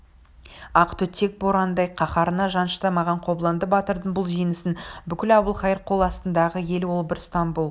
ақ түтек борандай қаһарына жан шыдамаған қобыланды батырдың бұл жеңісін бүкіл әбілқайыр қол астындағы ел ол бір стамбул